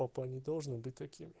папа не должен быть таким